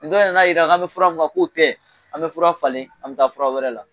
Ni dɔ nan'a jira an bɛ fura mun kan k'o tɛ, an bɛ fura falen, an bɛ taa fura wɛrɛ la.